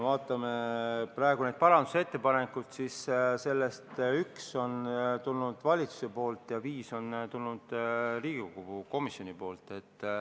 Vaatame praegu parandusettepanekuid, üks on tulnud valitsuselt ja viis on tulnud Riigikogu komisjonilt.